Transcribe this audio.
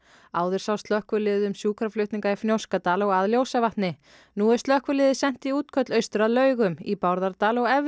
áður sá slökkviliðið um sjúkraflutninga í Fnjóskadal og að Ljósavatni nú er slökkviliðið sent í útköll austur að Laugum í Bárðardal og efri